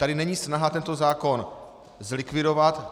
Tady není snaha tento zákon zlikvidovat.